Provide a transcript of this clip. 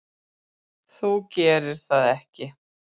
Þú gerir það ekki.